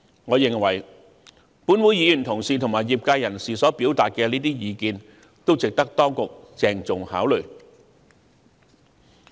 我認為，本會議員同事及業界人士所表達的意見均值得當局鄭重考慮。